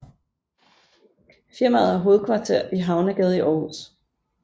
Firmaet har hovedkvarter i Havnegade i Aarhus